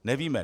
Nevíme.